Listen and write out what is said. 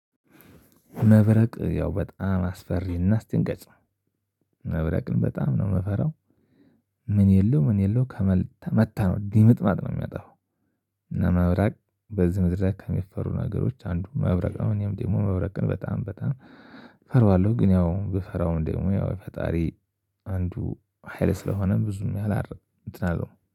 መብረቅ ያው በጣም አስፈሪና አስደንጋጭ ነው። መብረቅን በጣም ነው የምፈራው። ምን የለው ምን የለው ከመታ መታ ነው ድምጥማጥ ነው የሚያጠፋው። እና መብረቅ በዚህ ምድር ላይ ከሚፈሩ ነገሮች አንዱ መብረቅ ነው። እኔም ደግሞ መብረቅን በጣም በጣም እፈራዋለሁ። ግን ያው ብፈራውም ደግሞ ያው የፈጣሪ አንዱ ሀይል ስለሆነ ብዙም ያህል እንትን አልለውም